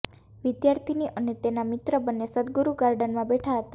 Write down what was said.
વિદ્યાર્થિની અને તેનો મિત્ર બન્ને સદગુરૂ ગાર્ડનમાં બેઠા હતા